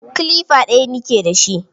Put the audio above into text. Kilifa ɗaya ni ke dashi.